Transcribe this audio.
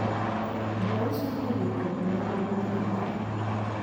Jauso noyie kod nengo mane awacho.